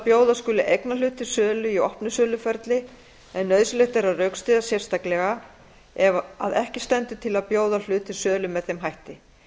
bjóða skuli eignarhlut til sölu í opnu söluferli en nauðsynlegt er að rökstyðja sérstaklega ef að ekki stendur til þess að bjóða hlut til sölu með þeim hætti